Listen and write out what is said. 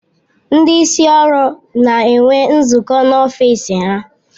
Ndị isi ụlọ ọrụ na-enwe nzukọ n'ọfịs ha.